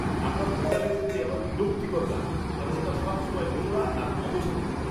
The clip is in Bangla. আপনার দোকানে যেতে আমার বিরক্তিকর লাগে কারণ ওটা সবসময় নোংরা আর অগোছালো থাকে।